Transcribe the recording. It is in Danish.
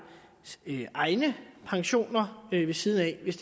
egne pensioner ved siden af hvis